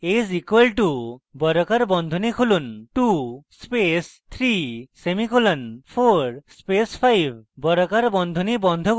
a is equal two বর্গাকার বন্ধনী খুলুন 2 space 3 semicolon 4 space 5 বর্গাকার বন্ধনী বন্ধ করুন